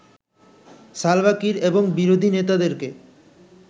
Salva Kiir এবং বিরোধী নেতাদেরকে